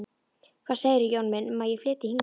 Hvað segirðu, Jón minn, um að ég flytji hingað inn.